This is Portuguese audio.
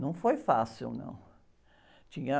Não foi fácil, não, tinha...